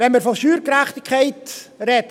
Wenn wir von Steuergerechtigkeit reden …